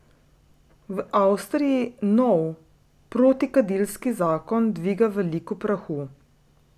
V Avstriji nov protikadilski zakon dviga veliko prahu.